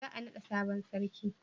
za a nada sabon sarki?